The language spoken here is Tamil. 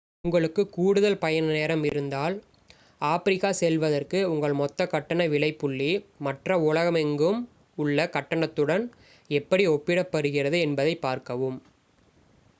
உங்களுக்கு கூடுதல் பயண நேரம் இருந்தால் ஆப்பிரிக்கா செல்வதற்கு உங்கள் மொத்த கட்டண விலைப்புள்ளி மற்ற உலகமெங்கும் உள்ள கட்டணத்துடன் எப்படி ஒப்பிடப்படுகிறது என்பதைப் பார்க்கவும்